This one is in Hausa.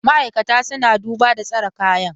Ma'aikata suna duba da tsara kayan.